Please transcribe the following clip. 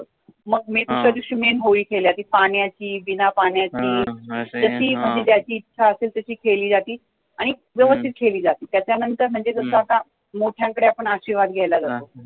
मग दुस-या दिवशी main होळी खेळली जाते, पाण्य़ाची, बिना पाण्य़ाची, तर ती म्हणजे ज्याची इच्छा असेल तशी खेळली जाते आणि व्यवस्थित खेळली जाते, त्याच्या नंतर म्हणजे कसं आता मोठ्यांकडे आपण आशिर्वाद घ्यायला जातो